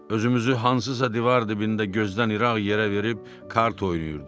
Özümüzü hansısa divar dibində gözdən iraq yerə verib kart oynayırdıq.